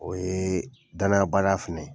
O ye danaya baliya fɛnɛ ye.